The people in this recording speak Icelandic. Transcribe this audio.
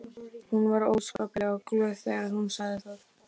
Hún var óskaplega glöð þegar hún sagði það.